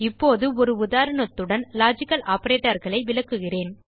இப்போது ஒரு உதாரணத்துடன் லாஜிக்கல் operatorகளை விளக்குகிறேன்